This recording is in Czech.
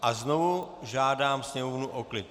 A znovu žádám sněmovnu o klid.